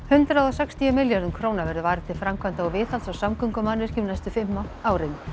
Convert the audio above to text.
hundrað og sextíu milljörðum króna verður varið til framkvæmda og viðhalds á samgöngumannvirkjum næstu fimm árin